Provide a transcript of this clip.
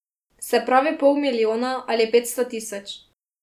Se pravi pol milijona ali petsto tisoč.